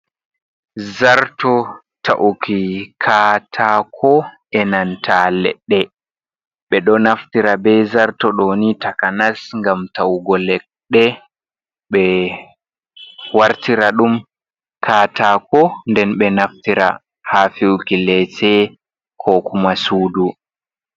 Zarto ta'uki katako e nanta ledde, ɓe do naftira be zarto doni takanas gam ta'ugo ledɗe ɓe wartira dum katako nden be naftira ha fiuki lece ko kuma sudu.